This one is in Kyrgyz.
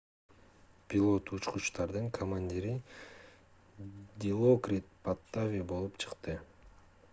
пилот учкучтардын командири дилокрит паттави болуп чыкты